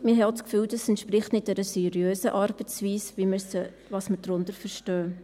Wir haben auch das Gefühl, das entspreche nicht einer seriösen Arbeitsweise, wie wir sie verstehen.